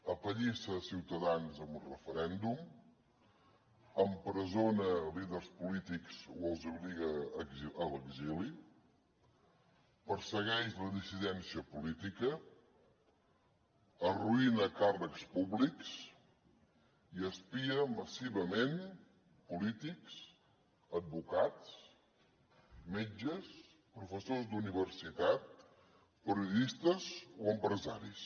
apallissa ciutadans en un referèndum empresona líders polítics o els obliga a l’exili persegueix la dissidència política arruïna càrrecs públics i espia massivament polítics advocats metges professors d’universitat periodistes o empresaris